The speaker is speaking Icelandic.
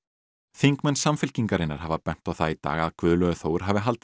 þingmenn Samfylkingarinnar hafa bent á það í dag að Guðlaugur Þór hafi haldið